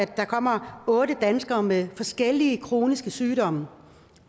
der kommer otte danskere med forskellige kroniske sygdomme op